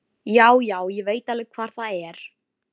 Rennir sér fótskriðu að græjunum þegar það kemur ekkert svar.